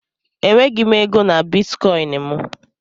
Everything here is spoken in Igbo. Enweghị m ego na Bitikoinu m